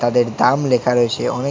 তাদের দাম লেখা রয়েছে অনেক--